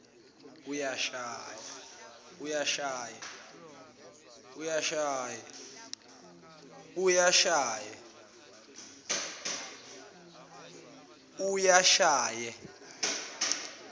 uyashaye